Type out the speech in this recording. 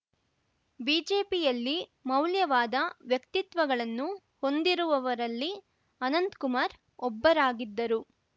ಬಿಜೆಪಿಯಲ್ಲಿ ಮೌಲ್ಯವಾದ ವ್ಯಕ್ತಿತ್ವಗಳನ್ನು ಹೊಂದಿರುವವರಲ್ಲಿ ಅನಂತಕುಮಾರ್‌ ಒಬ್ಬರಾಗಿದ್ದರು